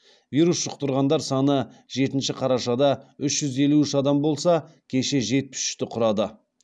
вирус жұқтырғандар саны жетінші қарашада үш жүз елу үш адам болса кеше жетпіс үшті құрады